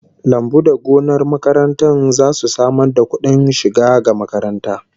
Lambu da gonar makaranta zasu samar da kudin shiga ga makaranta